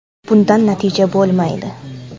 Bundan natija bo‘lmaydi.